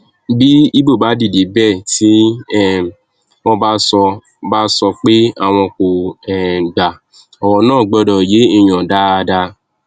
bí ibo bá dìde bẹẹ tí um wọn bá sọ bá sọ pé àwọn kò um gba ọrọ náà gbọdọ yéèyàn dáadáa